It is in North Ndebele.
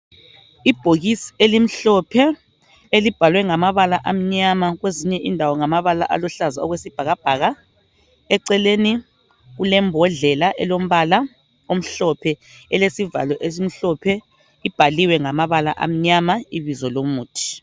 Ibhokisi elimhlophe elibhalwe ngamabala amnyama kwezinye indawo ngamabala aluhlaza okwesibhakabhaka eceleni kulembodlela elombala omhlophe elesivalo esimhlophe, ibhaliwe ngamabala amnyama ibizo lomuthi.